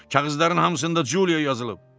Kağızların hamısında Culio yazılıb.